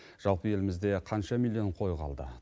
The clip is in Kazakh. жалпы елімізде қанша миллион қой қалды